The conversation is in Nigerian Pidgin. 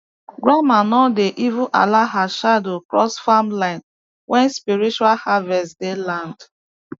grandma no dey even allow her shadow cross farm line when spiritual harvest day land